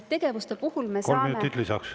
Kolm minutit lisaks.